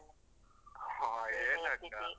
ಹ ಏನ್ ಅಕ್ಕ?